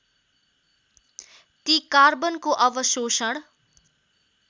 ती कार्बनको अवशोषण